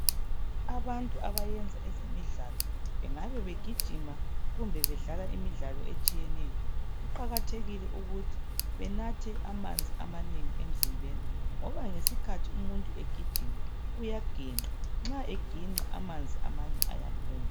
Abantu abayenza ezemidlalo bengabe begijima kumbe bedlala imidlalo etshiyeneyo kuqakathekile ukuthi benathe amanzi amanengi emzimbeni ngoba ngesikhathi umuntu egijima uyaginqa nxa eginqa amanzi amanye ayaphuma